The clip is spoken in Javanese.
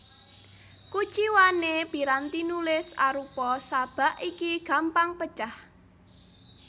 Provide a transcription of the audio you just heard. Kuciwané piranti nulis arupa sabak iki gampang pecah